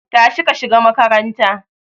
Tashi ka shiga makaranta